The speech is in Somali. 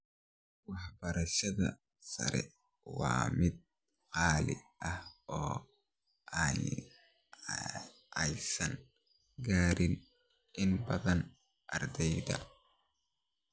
Waxbarashada sare waa mid qaali ah oo aysan gaarin inta badan ardeydha.